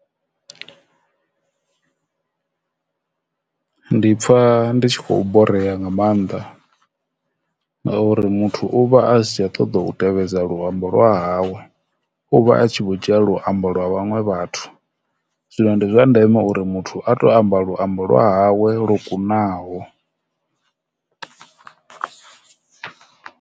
Ndi pfha ndi tshi khou borea nga maanḓa ngauri muthu uvha a si tsha ṱoḓa u tevhedza luambo lwa hawe uvha a tshi vho dzhia luambo lwa vhaṅwe vhathu zwino ndi zwa ndeme uri muthu a to amba luambo lwa hawe lwo kunaho.